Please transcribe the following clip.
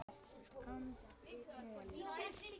andi moll.